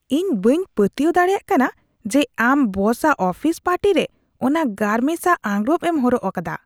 ᱤᱧ ᱵᱟᱹᱧ ᱯᱟᱹᱛᱭᱟᱹᱣ ᱫᱟᱲᱮᱭᱟᱜ ᱠᱟᱱᱟ ᱡᱮ ᱟᱢ ᱵᱚᱥᱟᱜ ᱟᱯᱷᱤᱥ ᱯᱟᱨᱴᱤᱨᱮ ᱚᱱᱟ ᱜᱟᱨᱢᱮᱥᱟ ᱟᱸᱜᱨᱚᱯ ᱮᱢ ᱦᱚᱨᱚᱜ ᱟᱠᱟᱫᱟ ᱾